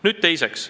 Nüüd teiseks.